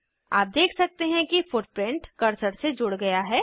आप देख सकते हैं फुटप्रिंट कर्सर से जुड़ गया है